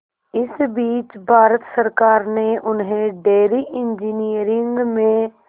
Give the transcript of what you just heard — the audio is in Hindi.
इस बीच भारत सरकार ने उन्हें डेयरी इंजीनियरिंग में